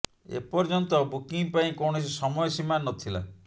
ଏ ପର୍ଯ୍ୟନ୍ତ ବୁକିଂ ପାଇଁ କୌଣସି ସମୟ ସୀମା ନଥିଲା